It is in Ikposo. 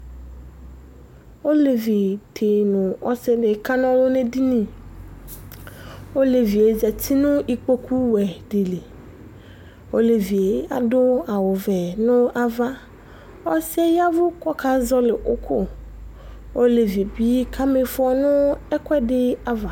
Olevi di nu ɔsidi kana ɔlu nu edini Olevi yɛ za uti nu ikpoku wɛ di li Olevi yɛ adu awu vɛ nu ava Ɔsi yɛ ya ɛvu ku ɔkazɔli uku Olevi yɛ bi kami ifɔ nu ɛkuɛ di ava